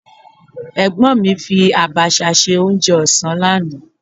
Ẹ̀gbọ́n mi fi Àbàshà ṣe oúnjẹ ọ̀sán lánàá.